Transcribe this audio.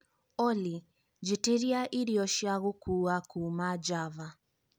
olly njĩtĩria irio cia gũkua kuuma java